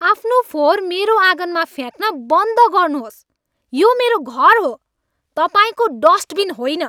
आफ्नो फोहोर मेरो आँगनमा फ्याँक्न बन्द गर्नुहोस्। यो मेरो घर हो, तपाईँको डस्टबिन होइन!